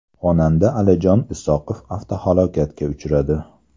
Xonanda Alijon Isoqov avtohalokatga uchradi.